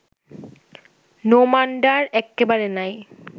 নোমানডার এক্কেবারে নাই